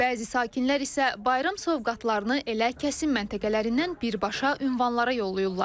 Bəzi sakinlər isə bayram sovqatlarını elə kəsim məntəqələrindən birbaşa ünvanlara yollayırlar.